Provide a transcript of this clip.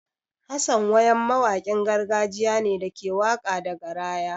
Hassan wayam mawaƙin gargajiya ne da ke waƙa da garaya.